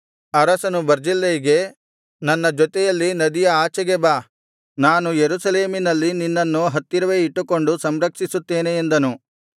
ಅರಸನು ಬರ್ಜಿಲ್ಲೈಗೆ ನನ್ನ ಜೊತೆಯಲ್ಲಿ ನದಿಯ ಆಚೆಗೆ ಬಾ ನಾನು ಯೆರೂಸಲೇಮಿನಲ್ಲಿ ನಿನ್ನನ್ನು ಹತ್ತಿರವೇ ಇಟ್ಟುಕೊಂಡು ಸಂರಕ್ಷಿಸುತ್ತೇನೆ ಎಂದನು